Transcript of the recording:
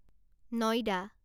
নইদা